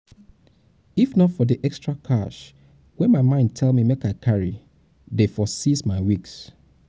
if not for the extra cash wey my mind tell me make i carry dey for seize my wigs